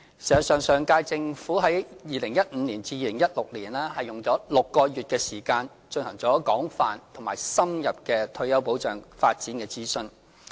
實際上，上屆政府於2015年至2016年間，用了6個月的時間進行了廣泛而深入的退休保障發展諮詢。